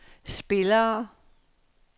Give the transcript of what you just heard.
spillere